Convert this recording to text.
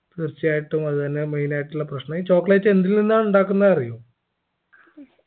തീർച്ചയായിട്ടും അത് തന്നെ main ആയിട്ടുള്ള പ്രശ്നം ഈ chocolate എന്തിൽ നിന്നാ ഉണ്ടാക്കുന്നെ അറിയോ